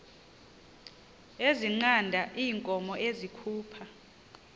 ezinqanda iinkomo ezikhupha